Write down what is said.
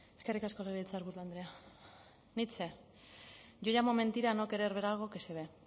eskerrik asko legebiltzarburu andrea nietzsche yo llamo mentira a no querer ver algo que se ve